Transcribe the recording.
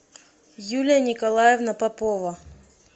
юлия николаевна попова